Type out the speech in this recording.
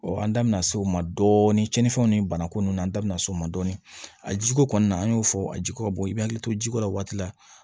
an da bɛna se o ma dɔɔnin cɛni fɛnw ni banako nunnu na an da bɛna s'o ma dɔɔnin a jiko kɔni na an y'o fɔ a jiko bɔ i bɛ hakili to jiko la o waati la